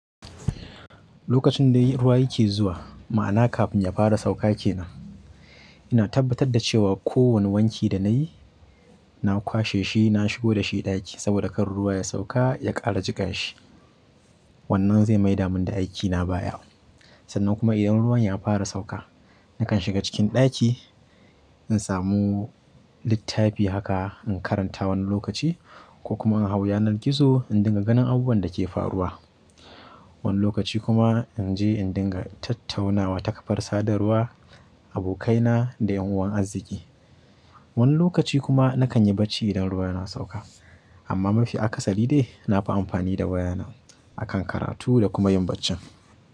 Lokacin da ruwa yake zuwa, ma'ana kafin ya fara sauka ke nan, ina tabbatar da cewa kowane wanki da na yi, na kwashe shi, na shigo da shi ɗaki saboda kan ruwa ya sauka ya ƙara jiƙa shi. Wannan zai maida mun da aikina baya. Sannan kuma idan ruwan ya fara sauka, nakan shiga cikin ɗaki, in samu littafi haka in karanta wani lokaci ko kuma in hau yanar gizo in dinga ganin abubuwan da ke faruwa. Wani lokaci kuma in je in dinga tattaunawa ta ƙafar sadarwa, abokaina da ƴan uwan arziki. Wani lokaci kuma nakan yi bacci idan ruwa yana sauka. Amma mafi akasari dai na fi amfani da wayana, a kan karatu da kuma yin baccen.